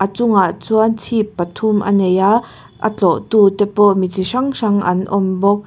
a chungah chuan chhip pathum a nei a a tlawhtu te pawh mi chi hrang hrang an awm bawk.